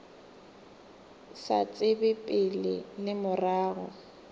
sa tsebe pele le morago